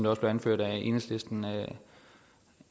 også blev anført af enhedslisten